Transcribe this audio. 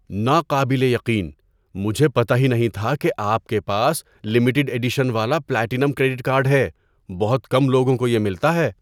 ناقابل یقین! مجھے پتہ ہی نہیں تھا کہ آپ کے پاس لمیٹڈ ایڈیشن والا پلاٹینم کریڈٹ کارڈ ہے۔ بہت کم لوگوں کو یہ ملتا ہے۔